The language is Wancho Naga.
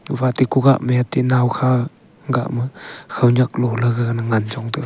gophate kugah mete nawkha gah ma khawnyak lole gaga ngan chong taiga.